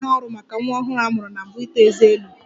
Ọ bụ ihe arụ maka nwa ọhụrụ a mụrụ na mbụ na-eto ezé elu